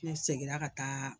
Ne seginna ka taa